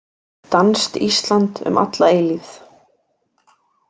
Danskt Ísland um alla eilífið.